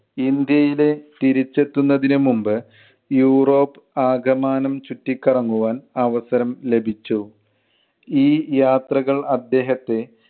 ഇന്ത്യയിലെ തിരിച്ചെത്തുന്നതിനു മുൻപ് യൂറോപ് ആകമാനം ചുറ്റിക്കറങ്ങുവാൻ അവസരം ലഭിച്ചു. ഈ യാത്രകൾ അദ്ദേഹത്തെ